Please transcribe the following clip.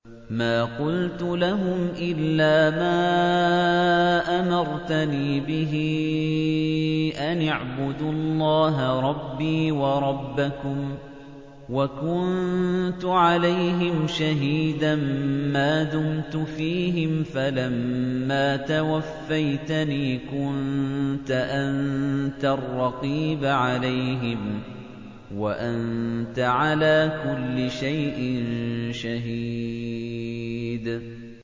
مَا قُلْتُ لَهُمْ إِلَّا مَا أَمَرْتَنِي بِهِ أَنِ اعْبُدُوا اللَّهَ رَبِّي وَرَبَّكُمْ ۚ وَكُنتُ عَلَيْهِمْ شَهِيدًا مَّا دُمْتُ فِيهِمْ ۖ فَلَمَّا تَوَفَّيْتَنِي كُنتَ أَنتَ الرَّقِيبَ عَلَيْهِمْ ۚ وَأَنتَ عَلَىٰ كُلِّ شَيْءٍ شَهِيدٌ